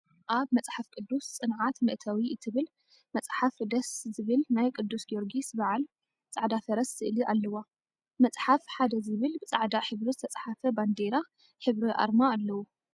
አብ “መፅሓፍ ቅዱስ ፅንዓት መእተዊ” እትብል መፅሓፍ ደስስስ… ዝብል ናይ ቅዱስ ጊዮርጊሰ በዓል ፃዕዳ ፈረስ ስእሊ አለዋ፡፡ መፅሓፍ ፩ ዝብል ብፃዕዳ ሕብሪ ዝተፅሓፈ ባንዴራ ሕብሪ አርማ አለዎ፡፡